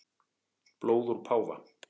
Blóð úr páfa